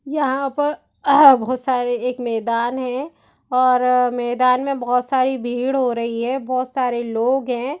यहाँ पर बहुत सारे एक मैदान है और मैदान में बहुत सारी भीड़ हो रही है बहुत सारे लोग हैं ।